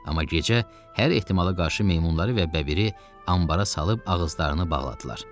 Amma gecə hər ehtimala qarşı meymunları və bəbiri anbara salıb ağızlarını bağladılar.